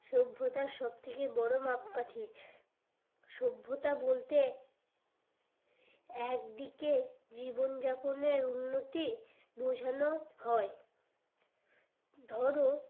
সভ্যতার সব থেকে বড়ো মাপকাঠি সভ্যতা বলতে একদিকে জীবন যাপনের উন্নতি বোঝানো হয় ধরো